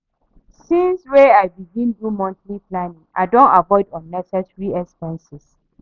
Since wey I begin do monthly planning, I don avoid unnecessary expenses.